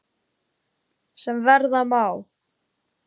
sem verða má.